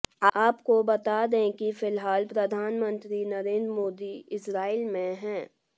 आपको बता दें कि फिलहाल प्रधानमंत्री नरेंद्र मोदी इजरायल में हैं